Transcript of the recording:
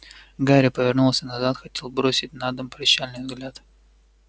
гарри повернулся назад хотел бросить на дом прощальный взгляд